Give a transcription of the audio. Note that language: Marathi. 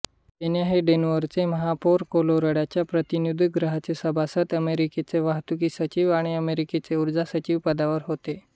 पेन्या हे डेन्व्हरचे महापौर कॉलोराडोच्या प्रतिनिधीगृहाचे सभासद अमेरिकेचे वाहतूकसचिव आणि अमेरिकेचे उर्जासचिव पदावर होते